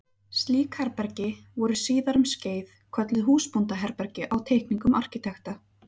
Slík herbergi voru síðar um skeið kölluð húsbóndaherbergi á teikningum arkitekta.